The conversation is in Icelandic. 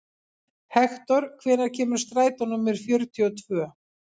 Hektor, hvenær kemur strætó númer fjörutíu og tvö?